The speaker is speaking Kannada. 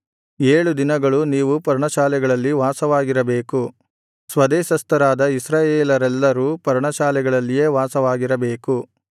ಏಳು ದಿನಗಳು ನೀವು ಪರ್ಣಶಾಲೆಗಳಲ್ಲಿ ವಾಸವಾಗಿರಬೇಕು ಸ್ವದೇಶಸ್ಥರಾದ ಇಸ್ರಾಯೇಲರೆಲ್ಲರೂ ಪರ್ಣಶಾಲೆಗಳಲ್ಲಿಯೇ ವಾಸವಾಗಿರಬೇಕು